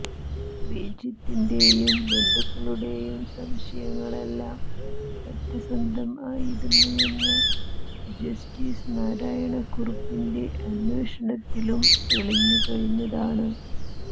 ശ്രീജിത്തിന്റെയും ബന്ധുക്കളുടെയും സംശയങ്ങളെല്ലാം സത്യമായിരുന്നെന്ന് ജസ്റ്റിസ് നാരായണക്കുറുപ്പിന്റെ അന്വേഷണത്തിലും തെളിഞ്ഞു കഴിഞ്ഞതാണ്